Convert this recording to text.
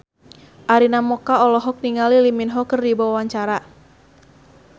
Arina Mocca olohok ningali Lee Min Ho keur diwawancara